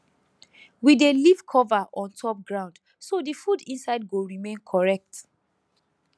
we dey leave cover on top ground so the food inside go remain correct